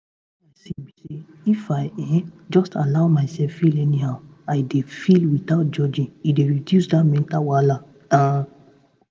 wetin i see be say if i um just allow myself feel anyhow i dey feel without judging e dey reduce that mental wahala um